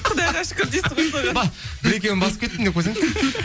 құдайға шүкір бір екеуін басып кеттім деп қойсаңызшы